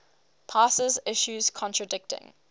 passes issues contradicting